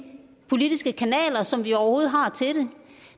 politiske kanaler som vi overhovedet har til det